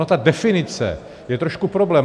Ona ta definice je trošku problém.